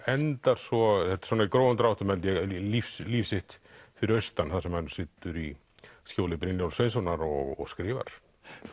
endar svo þetta er svona í grófum dráttum held ég líf líf sitt fyrir austan þar sem hann situr í skjóli Brynjólfs Sveinssonar og skrifar